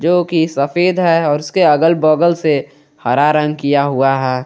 जो की सफेद है और उसके अगल बगल से हरा रंग किया हुआ है।